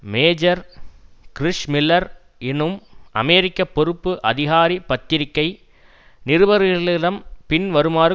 major Chris Miller எனும் அமெரிக்க பொறுப்பு அதிகாரி பத்திரிகை நிருபர்களிடம் பின்வருமாறு